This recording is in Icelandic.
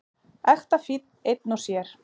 Ekta fínn einn og sér.